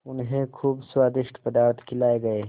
उन्हें खूब स्वादिष्ट पदार्थ खिलाये गये